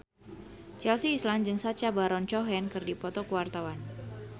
Chelsea Islan jeung Sacha Baron Cohen keur dipoto ku wartawan